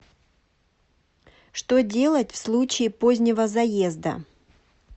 что делать в случае позднего заезда